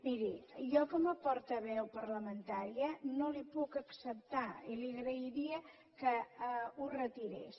miri jo com a portaveu parlamentària no li ho puc acceptar i li agrairia que ho retirés